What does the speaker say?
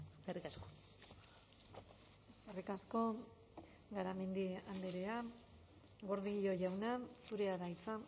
eskerrik asko eskerrik asko garamendi andrea gordillo jauna zurea da hitza